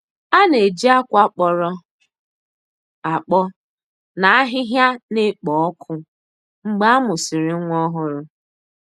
A na-eji akwa kpọrọ akpọ na ahịhịa na-ekpo ọkụ mgbe a mụsịrị nwa ọhụrụ.